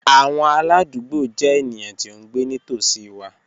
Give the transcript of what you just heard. Awọn aladugbo jẹ eniyan ti o ngbe nitosi wa